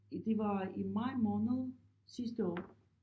Det var i maj måned sidste år